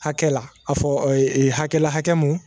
Hakɛ la a fɔ hakɛ la hakɛ mun